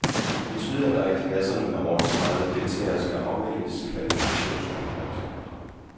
Det betyder, at der i klasserne med over tredive deltagere skal afvikles kvalifikationskonkurrencer.